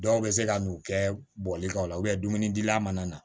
Dɔw bɛ se ka n'u kɛ bɔli kan o la dumuni dilila mana na